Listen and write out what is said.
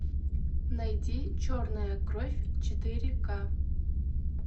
найди черная кровь четыре ка